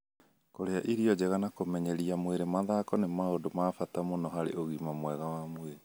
Kũrĩa irio njega na kũmenyeria mwĩrĩ mathako nĩ maũndũ ma bata mũno harĩ ũgima mwega wa mwĩrĩ.